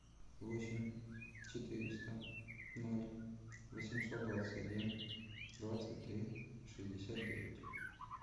восемь четыреста ноль восемьсот двадцать один двадцать три шестьдесят девять